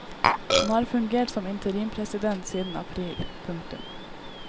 Han har fungert som interimpresident siden april. punktum